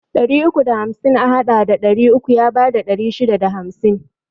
Ɗari uku da hamsin a haɗa da ɗari uku ya bada ɗari shida da hamsin